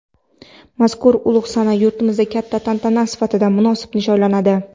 mazkur ulug‘ sana yurtimizda katta tantana sifatida munosib nishonlanadi.